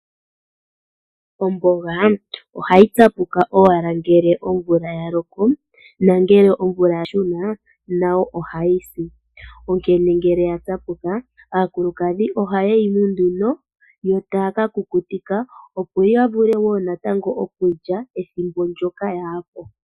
Omboga, ohayi tsapuka owala ngele omvula yaloko, na ngele omvula ya shuna, nayo ohayi si. Onkene ngele ya tsapuka, aakulukadhi ohaye yi munu nduno, yo taya ka kukukutika opo yavule wo natango okulya ethimbo ndjoka yaapo.